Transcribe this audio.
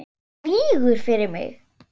Hún lýgur fyrir mig.